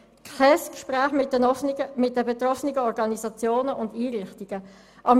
Es hat kein Gespräch mit den betroffenen Organisationen und Einrichtungen stattgefunden.